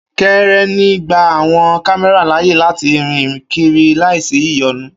Kírènì gba àwọn kámẹ́rà láàyè láti rìn kiri láìsí ìyọnu